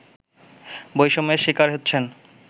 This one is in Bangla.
বৈষম্যের শিকার হচ্ছেন